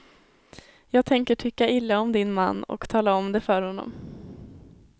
Jag tänker tycka illa om din man, och tala om det för honom.